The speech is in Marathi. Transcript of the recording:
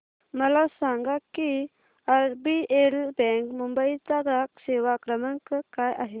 मला सांगा की आरबीएल बँक मुंबई चा ग्राहक सेवा क्रमांक काय आहे